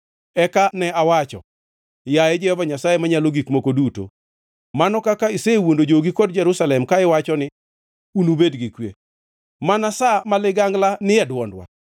Eka ne awacho, “Yaye Jehova Nyasaye Manyalo Gik Moko Duto, mano kaka isewuondo jogi kod Jerusalem ka iwacho ni, ‘Unubed gi kwe,’ mana sa ma ligangla ni e dwondwa.”